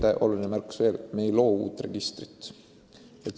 Üks oluline märkus veel: me ei loo uut registrit.